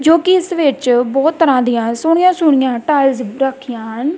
ਜੋਕੀ ਇੱਸ ਵਿੱਚ ਬੋਹਤ ਤਰਹਾਂ ਦਿਆਂ ਸੋਹਣਿਆ ਸੋਹਣਿਆ ਟਾਇਲਸ ਵੀ ਰੱਖਿਆਂ ਹਨ।